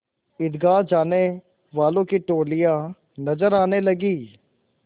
ईदगाह जाने वालों की टोलियाँ नजर आने लगीं